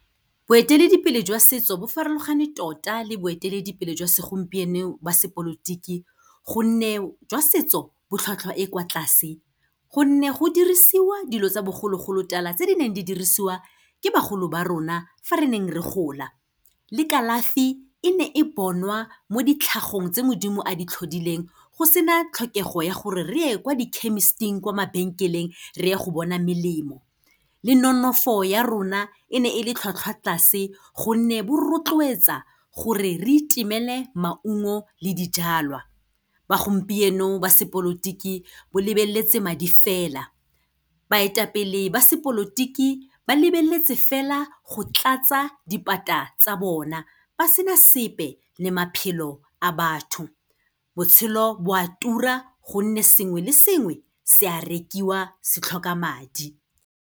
Boeteledipele jwa setso bo farologane tota le boeteledipele jwa segompieno ba sepolotiki gonne jwa setso, bo tlhwatlhwa e kwa tlase gonne go dirisiwa dilo tsa bogologolotala tse di neng di dirisiwa ke bagolo ba rona fa re neng re gola. Le kalafi, e ne e bonwa mo ditlhagong tse Modimo a di tlhodileng go se na tlhokego ya gore re ye kwa di-chemist-ing kwa mabenkeleng, re ye go bona melemo. Le nonofo ya rona, e ne e le tlhwatlhwa tlase gonne bo rotloetsa gore re itemele maungo le dijalwa. Ba gompieno ba sepolotiki bo lebeletse madi fela. Baetapele ba sepolotiki, ba lebeletse fela go tlatsa dipata tsa bona ba sena sepe le maphelo a batho. Botshelo bo a tura gonne sengwe le sengwe se a rekiwa, se tlhoka madi.